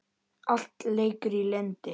Allt leikur í lyndi.